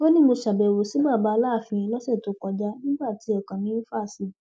ó ní mo ṣàbẹwò sí baba aláàfin lọsẹ tó kọjá nígbà tí ọkàn mi fà sí i